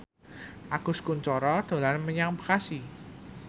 Agus Kuncoro dolan menyang Bekasi